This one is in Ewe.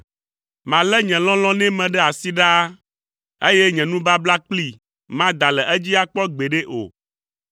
Malé nye lɔlɔ̃ nɛ me ɖe asi ɖaa, eye nye nubabla kplii mada le edzi akpɔ gbeɖe o.